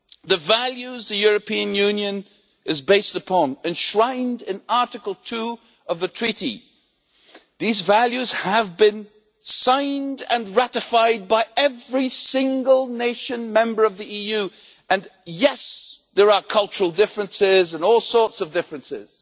The values the European Union is based upon, enshrined in Article 2 of the Treaty, have been signed and ratified by every single nation member of the EU, and yes, there are cultural differences and all sorts of differences.